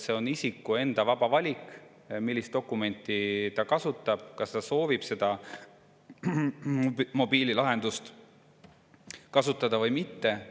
See on isiku enda vaba valik, millist dokumenti ta kasutab, kas ta soovib seda mobiililahendust kasutada või mitte.